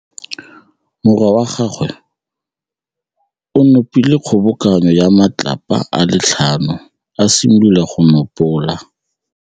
Morwa wa gagwe o nopile kgobokanô ya matlapa a le tlhano, a simolola go konopa.